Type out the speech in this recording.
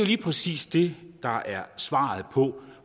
lige præcis det der er svaret på